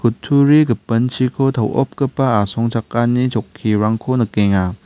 gipinchiko to·opgipa asongchakani chokkirangko nikenga.